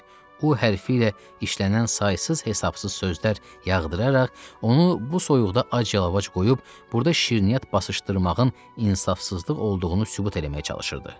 O, H hərfi ilə işlənən saysız-hesabsız sözlər yağdıraraq onu bu soyuqda ac-yalavac qoyub burda şirniyyat basışdırmağın insafsızlıq olduğunu sübut eləməyə çalışırdı.